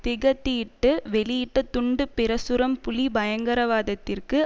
திகதியிட்டு வெளியிட்ட துண்டு பிரசுரம் புலி பயங்கரவாதத்திற்கு